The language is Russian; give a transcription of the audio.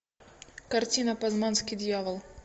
картина пазманский дьявол